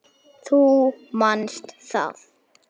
Þú manst það.